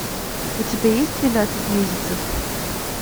у тебя есть двенадцать месяцев